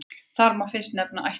Þar má fyrst nefna ættarsögu.